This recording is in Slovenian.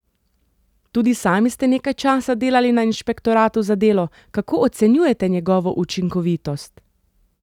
Tudi sami ste nekaj časa delali na inšpektoratu za delo, kako ocenjujete njegovo učinkovitost?